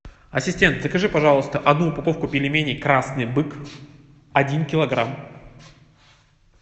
ассистент закажи пожалуйста одну упаковку пельменей красный бык один килограмм